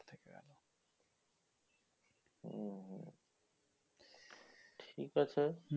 উম হম ঠিক আছে